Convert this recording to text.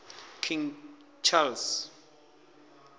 king charles